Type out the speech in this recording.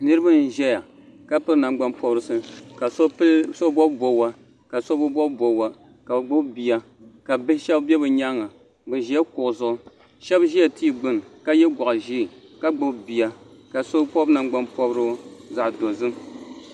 niraba n ʒɛya ka piri nangbani pobirisi ka so bob bobga ka so bi bob bobga ka bi gbubi bia ka bia shab bɛ bi nyanga bi ʒila kuɣu zuɣu shab ʒila tia gbuni ka yɛ goɣa ʒiɛ ka gbubi bia ka so pobi nangbani pobirigu zaɣ ʒiɛ